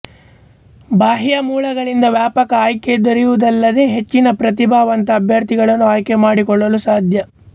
ಬಾಹ್ಯ ಮೂಲಗಳಿಂದ ವ್ಯಾಪಕ ಆಯ್ಕೆ ದೊರೆಯುವುದಲ್ಲದೆಹೆಚ್ಚು ಪ್ರತಿಭಾವಂತ ಅಭ್ಯರ್ಥಿಗಳನ್ನು ಆಯ್ಕೆ ಮಾಡಿಕೊಳ್ಳಲು ಸಾಧ್ಯ